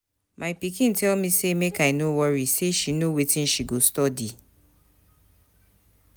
My pikin tell me make I no worry say she know wetin she go study.